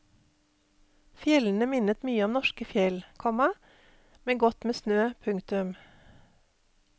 Fjellene minnet mye om norske fjell, komma med godt med snø. punktum